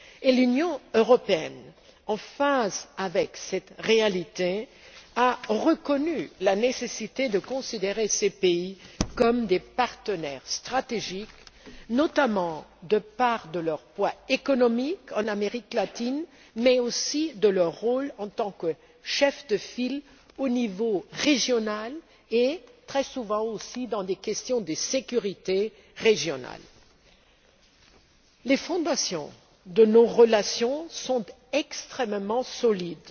Et l'Union européenne, en phase avec cette réalité, a reconnu la nécessité de considérer ces pays comme des partenaires stratégiques, notamment de par leur poids économique en Amérique latine, mais aussi de par leur rôle en tant que chefs de file au niveau régional et, très souvent pour des questions de sécurité régionale. Les fondations de nos relations sont extrêmement solides.